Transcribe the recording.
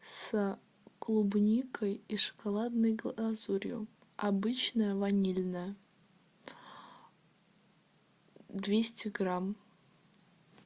с клубникой и шоколадной глазурью обычное ванильное двести грамм